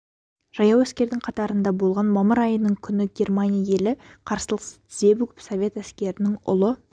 жаяу әскердің қатарында болған мамыр айының күні германия елі қарсылықсыз тізе бүгіп совет әскерінің ұлы